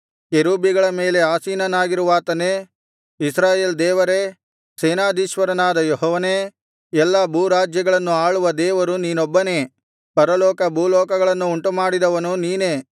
ಕೆರೂಬಿಗಳ ಮೇಲೆ ಆಸೀನನಾಗಿರುವಾತನೇ ಇಸ್ರಾಯೇಲ್ ದೇವರೇ ಸೇನಾಧೀಶ್ವರನಾದ ಯೆಹೋವನೇ ಎಲ್ಲಾ ಭೂರಾಜ್ಯಗಳನ್ನು ಆಳುವ ದೇವರು ನೀನೊಬ್ಬನೇ ಪರಲೋಕ ಭೂಲೋಕಗಳನ್ನು ಉಂಟುಮಾಡಿದವನು ನೀನೇ